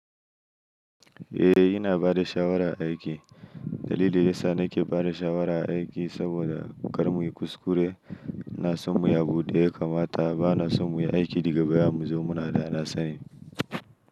Eh ina bada shawara aiki. Dalili yasa nake bada shawara aiki saboda kar muyi kuskure. Ina son muyi abunda ya kamata bana son mu yi aiki digabaya mu zo muna da nasani.